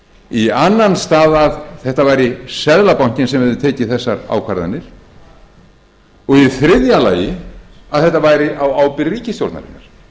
í annan stað að þetta væri seðlabankinn sem hefði tekið þessar ákvarðanir og í þriðja lagi að þetta væri á ábyrgð ríkisstjórnarinnar